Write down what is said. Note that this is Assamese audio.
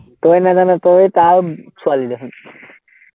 তই নাজান, তই তাৰ ছোৱালী দেখোন